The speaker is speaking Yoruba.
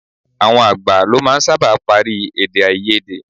Àwọn àgbà lọ máa ń sábà parí èdèáiyedé.